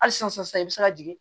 Hali sisan sisan i bɛ se ka jigin